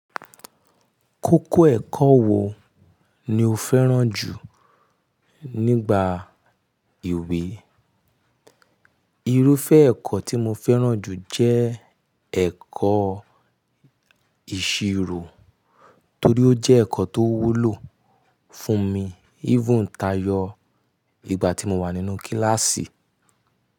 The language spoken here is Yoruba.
Kókó ẹ̀kọ́ wo ni o fẹ́ràn jù nígbà ìwé? Irúfẹ́ ẹ̀kọ́ tí mo fẹ́ràn jù jẹ́ ẹ̀kọ́ ìṣirò torí ó jẹ́ ẹ̀kọ́ tó wúlò fún mi, even kayọ igba tí mo wà nínú kíláàsì.